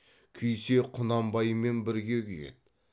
күйсе құнанбаймен бірге күйеді